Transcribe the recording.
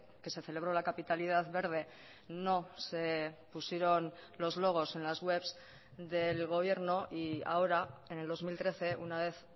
que se celebró la capitalidad verde no se pusieron los logos en las webs del gobierno y ahora en el dos mil trece una vez